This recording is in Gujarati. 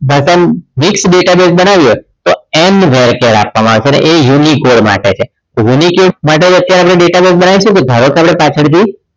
ભાષા માં disk database બનાવીએ તો and variable char આપવામાં આવે છે અને એ unique case માટે છે તો unique case માટે આપણે જે database બનાવીશું જે ભાગોળ પાછડ થી